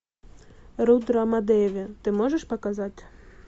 рудрамадеви ты можешь показать